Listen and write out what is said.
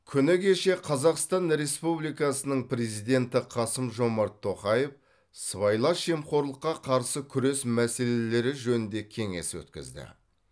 күні кеше қазақстан республикасының президенті қасым жомарт тоқаев сыбайлас жемқорлыққа қарсы күрес мәселелері жөнінде кеңес өткізді